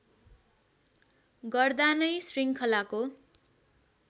गर्दा नै श्रृङ्खलाको